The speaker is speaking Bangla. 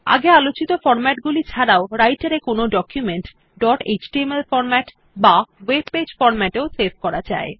আগে আলোচিত ফরম্যাট গুলি ছাড়াও রাইটের এ কোনো ডকুমেন্ট ডট এচটিএমএল ফরম্যাট বা ওয়েব পেজ ফরম্যাট এও সেভ করা যায়